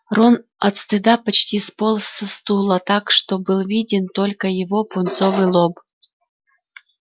рон от стыда почти сполз со стула так что был виден только его пунцовый лоб